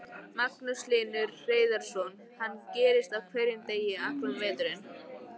Magnús Hlynur Hreiðarsson: Þetta gerist á hverjum degi allan veturinn?